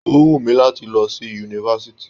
O wù mí láti lọ sí yunifásítì.